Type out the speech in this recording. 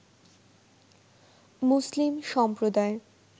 মুসলিম সম্প্রদায়